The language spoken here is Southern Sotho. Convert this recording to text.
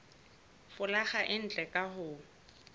folaga e ntle ka ho